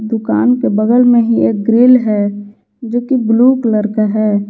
दुकान के बगल में ही एक ग्रिल है जो की ब्लू कलर का है।